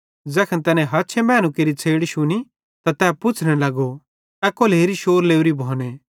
ज़ैखन तैनी हछे मैनू केरि छ़ैड़ शुनी त तै पुच्छ़ने लगो ए कोलहेरी शौर लोरी भोने